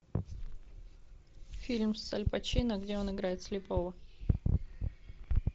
фильм с аль пачино где он играет слепого